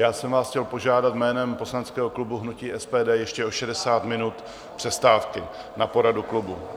Já jsem vás chtěl požádat jménem poslaneckého klubu hnutí SPD ještě o 60 minut přestávky na poradu klubu.